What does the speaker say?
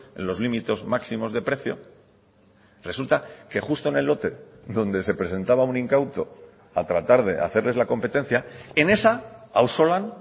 en los límites máximos de precio resulta que justo en el lote donde se presentaba un incauto a tratar de hacerles la competencia en esa ausolan